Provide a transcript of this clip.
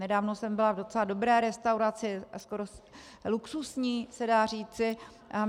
Nedávno jsem byla v docela dobré restauraci, až skoro luxusní se dá říci.